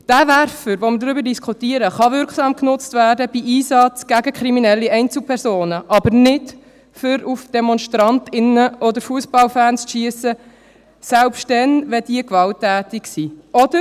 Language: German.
Der Werfer, über den wir diskutieren, kann bei Einsätzen gegen kriminelle Einzelpersonen wirksam genutzt werden, aber nicht, um auf Demonstrantinnen und Demonstranten oder Fussballfans zu schiessen, selbst dann, wenn diese gewalttätig sind.